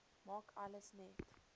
maak alles net